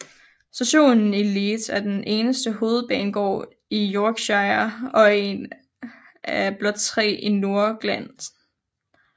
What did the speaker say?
Stationen i Leeds er den eneste hovedbanegård i Yorkshire og en af blot tre i Nordengland